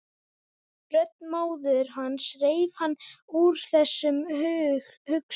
Rödd móður hans reif hann upp úr þessum hugsunum.